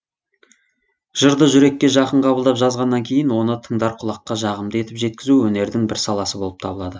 жырды жүрекке жақын қабылдап жазғаннан кейін оны тыңдар құлаққа жағымды етіп жеткізуі өнердің бір саласы болып табылады